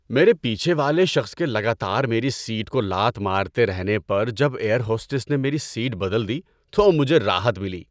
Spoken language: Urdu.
میرے پیچھے والے شخص کے لگاتار میری سیٹ کو لات مارتے رہنے پر جب ایئر ہوسٹس نے میری سیٹ بدل دی تو مجھے راحت ملی۔